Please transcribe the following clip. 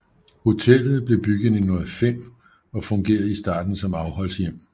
Hotellet blev bygget i 1905 og fungerede i starten som afholdshjem